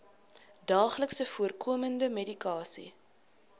daagliks voorkomende medikasie